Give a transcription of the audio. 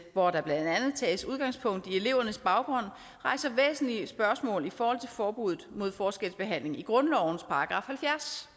hvor der blandt andet tages udgangspunkt i elevernes baggrund rejser væsentlige spørgsmål i forhold til forbuddet mod forskelsbehandling i grundlovens § halvfjerds